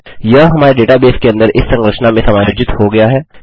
यह हमारे डेटाबेस के अंदर इस संरचना में समायोजित हो गया है